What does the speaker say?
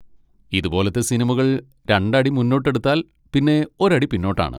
ഇതുപോലത്തെ സിനിമകൾ രണ്ടടി മുന്നോട്ടെടുത്താൽ പിന്നെ ഒരടി പിന്നോട്ടാണ്.